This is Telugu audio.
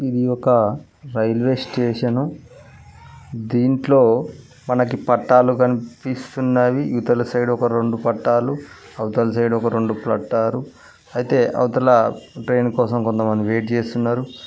ఇది ఒక రైల్వే స్టేషను దీంట్లో మనకి పట్టాలు కనిపిస్తున్నవి ఇవతల సైడు ఒక రెండు పట్టాలు అవతల సైడ్ ఒక రెండు పట్టారు అయితే అవతల ట్రైను కోసం కొంతమంది వెయిట్ చేస్తున్నారు.